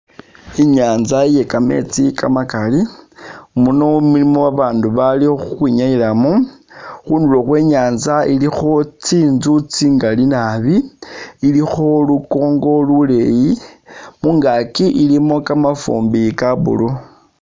Inyanza iye kametsi kamakali, muno mulimo abandu bali khukhwi nyayilamu, khundulo Khwe nyanza ilikho tsinzu tsingali naabi, ilikho lukongo luleyi, mungaki ilimo kamafumbi ka blue